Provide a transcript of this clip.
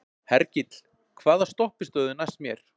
Hergill, hvaða stoppistöð er næst mér?